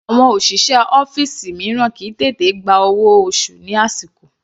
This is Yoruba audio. Àwọn òṣìṣẹ́ ọ́fìsì mìíràn kìí tètè gba owó oṣù ní àsìkò.